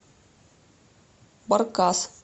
баркас